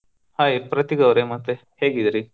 Hai ಪ್ರತೀಕವರೇ ಮತ್ತೆ ಹೇಗಿದಿರಿ ?